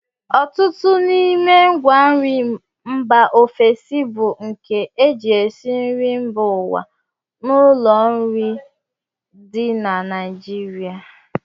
Ọtụtụ n'ime ngwanri mba ofesi bụ nke e ji esi nri mba ụwa n'ụlọ nri dị na Naijiria